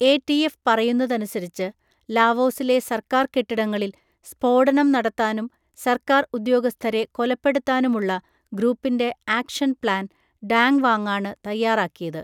ATF പറയുന്നതനുസരിച്ച്, ലാവോസിലെ സർക്കാർ കെട്ടിടങ്ങളിൽ സ്‌ഫോടനം നടത്താനും സർക്കാർ ഉദ്യോഗസ്ഥരെ കൊലപ്പെടുത്താനുമുള്ള ഗ്രൂപ്പിൻ്റെ 'ആക്ഷൻ പ്ലാൻ' ഡാങ് വാങാണ് തയ്യാറാക്കിയത്.